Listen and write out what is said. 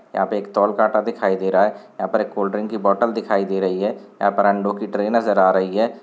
यहाँ पे एक तौल काटा दिखाई दे रहा है यहाँ पर एल कोल्डड्रिंक की बोतल दिखाई दे रही है यहाँ पर अंडों की ट्रे नज़र आ रही हैं।